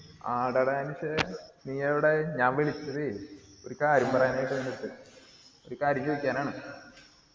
ആട ട അനസെ നീ എവിടെ ഞാൻ വിളിച്ചത് ഒരു കാര്യം പറയാനായിട്ട് നിന്റടുത് ഒരു കാര്യം ചോയിക്കാനാണ്